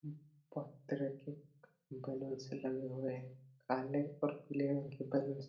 बहोत तरह के बैलून्स लगे हुए है काले और पीले रंग कि बैलून्स --